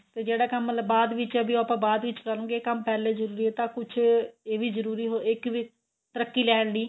ਤੇ ਜਿਹੜਾ ਕੰਮ ਮਤਲਬ ਬਾਅਦ ਵਿੱਚ ਏ ਉਹ ਆਪਾਂ ਬਾਅਦ ਵਿੱਚ ਕਰਾਂਗੇ ਕੰਮ ਪਹਿਲੇ ਜਰੂਰੀ ਏ ਤਾਂ ਕੁੱਝ ਇਹ ਵੀ ਜਰੂਰੀ ਇੱਕ ਵੀ ਤਰੱਕੀ ਲੈਣ ਲਈ